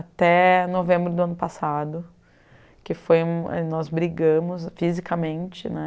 Até novembro do ano passado, que foi... nós brigamos fisicamente, né?